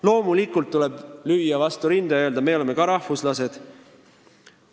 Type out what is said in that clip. Loomulikult tuleb lüüa vastu rinda ja öelda, et meie oleme ka rahvuslased.